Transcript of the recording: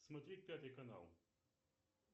смотреть пятый канал